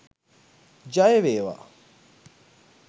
ජය වේවා!.